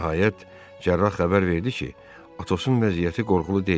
Nəhayət cərrah xəbər verdi ki, Atosun vəziyyəti qorxulu deyil.